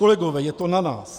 Kolegové, je to na nás.